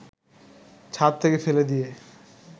ছাদ থেকে ফেলে দিয়ে